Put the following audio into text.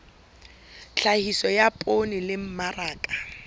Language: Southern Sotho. tlhahiso ya poone le mmaraka